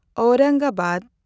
Aurangabad